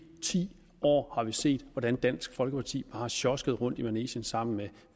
ti år har vi set hvordan dansk folkeparti har sjosket rundt i manegen sammen med